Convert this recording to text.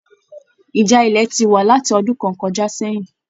Ìjà ilẹ ti wa láti ọdún kàn kọjá sẹyìn.